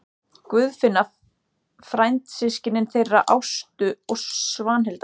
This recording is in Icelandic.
Guðfinna frændsystkin þeirra Ástu og Svanhildar.